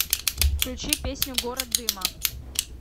включи песню город дыма